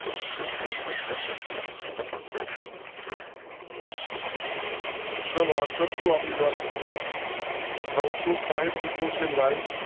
ચાલો આન્સર શું આપી રાજ મિત્રો નવસો સાઈઠ મિત્રો છે લાઇવ.